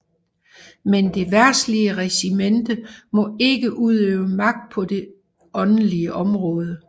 Men det verdslige regimente må ikke udøve magt på det på det åndelige område